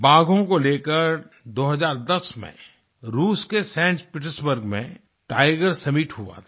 बाघों को लेकर 2010 में रूस के सैंट पीटर्सबर्ग में टाइगर सम्मित हुआ था